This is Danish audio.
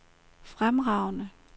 fremragende